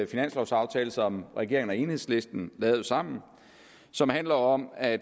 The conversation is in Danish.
finanslovsaftale som regeringen og enhedslisten lavede sammen og som handler om at